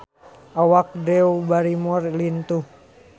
Awak Drew Barrymore lintuh